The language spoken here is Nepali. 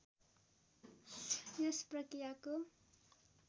यस प्रक्रियाको